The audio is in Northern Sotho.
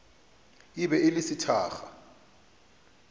e be e le sethakga